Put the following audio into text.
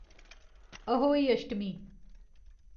Ahoi Ashtami